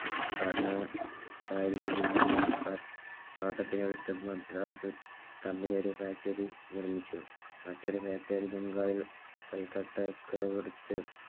ഭരണകാരിയിൽ നിന്നും പാട്ട പാട്ടത്തിനെടുത്ത മദ്രാസ് Company ഒരു Factory നിർമ്മിച്ചു. മറ്റൊരു Factory ബംഗാൾ കൽക്കട്ട